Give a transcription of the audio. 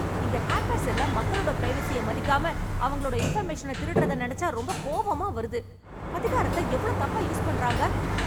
இந்த ஹேக்கர்ஸ் எல்லாம் மக்களோட பிரைவசிய மதிக்காம, அவங்களோட இன்ஃபர்மேஷன திருடறத நினைச்சா ரொம்ப கோவமா வருது. அதிகாரத்தை எவ்வளவு தப்பா யூஸ் பண்றாங்க.